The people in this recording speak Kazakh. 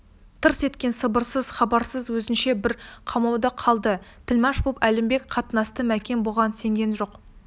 тырс еткен сыбыссыз хабарсыз өзінше бір қамауда қалды тілмаш боп әлімбек қатынасты мәкен бұған сенген жоқ